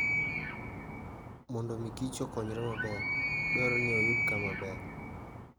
Mondo omi Kich okonyre maber, dwarore ni oyud kamaber